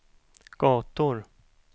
gator